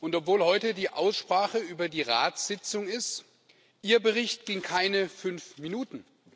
Und obwohl heute die Aussprache über die Ratssitzung ist, ging Ihr Bericht keine fünf Minuten.